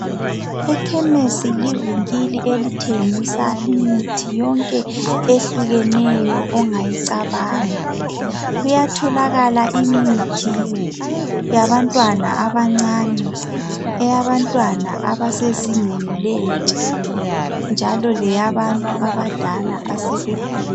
Ekhemisi livinkili elitshengisa imithi yonke ehlukeneyo ongayicabanga kuyatholakala imithi yabantwana abancani eyabantwana abasezingeni lentsha njalo leyabantu abadala abasebekhulile